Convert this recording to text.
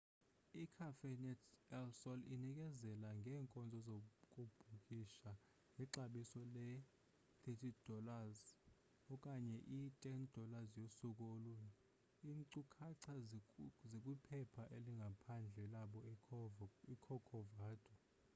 i-cafenet el sol inikezela ngeenkonzo zokubhukisha ngexabiso leus$30 okanye i$10 yosuku olunye; iinkcukacha zikwiphepha elingaphandle labo icorcovado